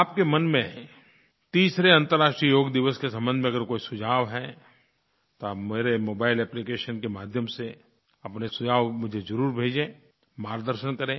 आपके मन में तीसरे अन्तर्राष्ट्रीय योग दिवस के संबंध में अगर कोई सुझाव है तो आप मेरे मोबाइल एप्लिकेशन के माध्यम से अपने सुझाव मुझे ज़रूर भेजें मार्गदर्शन करें